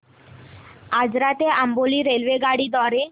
आजरा ते अंबोली रेल्वेगाडी द्वारे